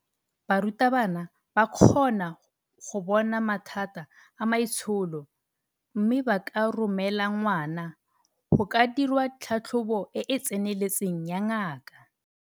Barutabana ba kgona go bona mathata a maitsholo mme ba ka romela ngwana go ka dirwa tlhatlhobo e e tseneletseng ya ngaka.